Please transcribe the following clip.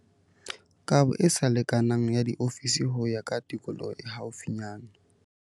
Kabo e sa lekanang ya diofisi ho ya ka tikoloho e haufinyana.